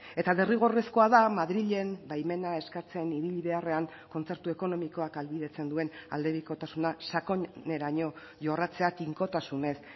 eta derrigorrezkoa da madrilen baimena eskatzen ibili beharrean kontzertu ekonomikoak ahalbidetzen duen aldebikotasuna sakoneraino jorratzea tinkotasunez